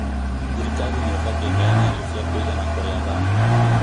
Thirikari nĩ ĩbatiĩ ĩheane irio cia kũigana kũrĩ athami